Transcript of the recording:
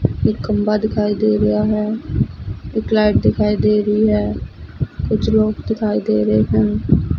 ਇੱਕ ਖੰਭਾ ਦਿਖਾਈ ਦੇ ਰਿਹਾ ਹੈ ਇੱਕ ਲਾਈਟ ਦਿਖਾਈ ਦੇ ਰਹੀ ਹੈ ਕੁਛ ਲੋਗ ਦਿਖਾਈ ਦੇ ਰਹੇ ਹਨ।